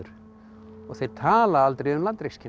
og þeir tala aldrei um